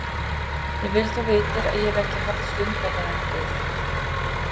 Ég vil þú vitir að ég hef ekki haft stundlegan frið.